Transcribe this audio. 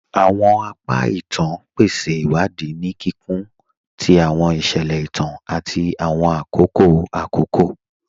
Awọn apa ìtàn pèsè iwadi ni kíkún tì awọn iṣẹlẹ ìtàn àti awọn akókò akókò.